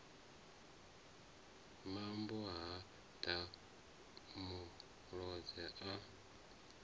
mambo ha ḓa muloza a